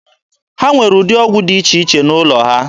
Ha nwere ụdị ọgwụ dị iche iche n'ụlọ ha.